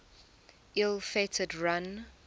ill fated run